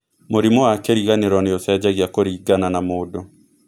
Mũrimũ wa kĩriganĩro nĩ ũcenjagia kũringana na mũndũ.